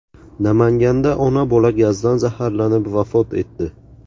Namanganda ona-bola gazdan zaharlanib vafot etdi.